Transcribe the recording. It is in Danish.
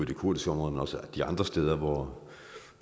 de kurdiske områder men også de andre steder hvor